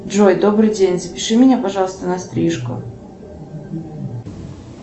джой добрый день запиши меня пожалуйста на стрижку